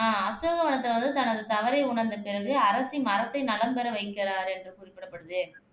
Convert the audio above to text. அஹ் அசோகவதனத்தை வந்து தனது தவறை உணர்ந்த பிறகு அரசி மரத்தை நலம் பெற வைக்கிறாரு என்று குறிப்பிடப்படுது